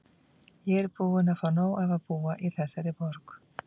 Ég er bara búin að fá nóg af að búa í þessari borg.